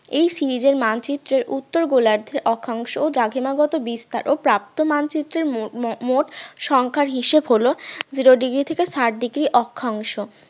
এই series এর মানচিত্রের উত্তর গোলার্ধের অক্ষাংশ ও দ্রাঘিমা গত বিস্তার ও প্রাপ্ত মানচিত্রের মো~ মোট সংখ্যার হিসেব হলো zero degree থেকে ষাট degree অক্ষাংশ